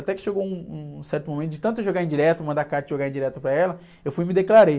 Até que chegou um, um certo momento de tanto eu jogar indireta, mandar carta e jogar indireta para ela, eu fui e me declarei.